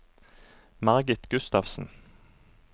Margit Gustavsen